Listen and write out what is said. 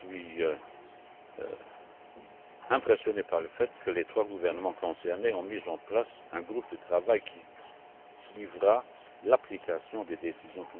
Je suis impressionné par le fait que les trois gouvernements concernés aient mis en place un groupe de travail qui suivra l'application de ces décisions.